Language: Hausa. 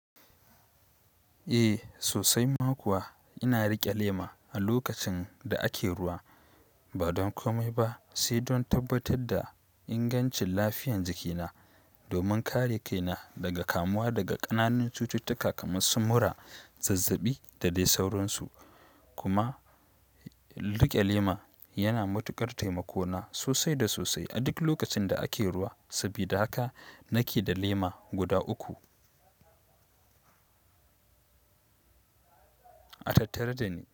Eh sosai ma kuwa ina riƙe lema a lokacin da ake ruwa ba dan komai saindan tabbatar da ingancin lafiyar jikina domin kare kaina daga kamuwa daga ƙananun cututtuka kamar sumura, zazzaɓi da dai sauransu. Kuma rike lema yana matukar taimako na sosai da sosai a duk lokacin da ake ruwa saboda haka nake da lema guda uku a tattare da ni.